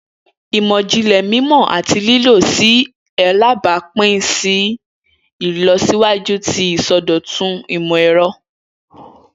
Imọlẹ yẹ ki o wa ni pipa ni wakati kan sẹhin!